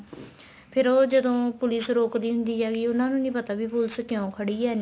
ਫ਼ੇਰ ਉਹ ਜਦੋਂ police ਰੋਕਦੀ ਹੁੰਦੀ ਹੈਗੀ ਉਹਨਾ ਨੂੰ ਨਹੀਂ ਪਤਾ ਵੀ police ਕਿਉ ਖੜੀ ਏ ਐਨੀਂ